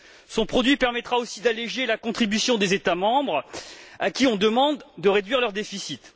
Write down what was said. Son produit permettra aussi d'alléger la contribution des États membres, à qui on demande de réduire leur déficit.